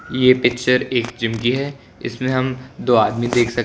ये पिक्चर एक जिम की है इसमें हम दो आदमी देख सक--